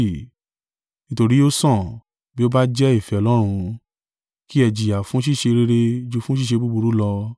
Nítorí ó sàn, bí ó bá jẹ́ ìfẹ́ Ọlọ́run, kí ẹ jìyà fún ṣíṣe rere ju fún ṣíṣe búburú lọ.